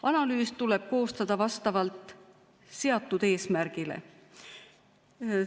Analüüs tuleb koostada vastavalt seatud eesmärgile.